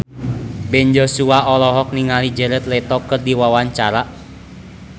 Ben Joshua olohok ningali Jared Leto keur diwawancara